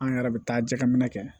An yɛrɛ bɛ taa jɛgɛ minɛ kɛ